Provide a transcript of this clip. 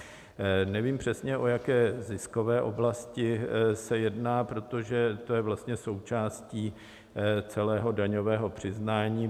Nevím přesně, o jaké ziskové oblasti se jedná, protože to je vlastně součástí celého daňového přiznání.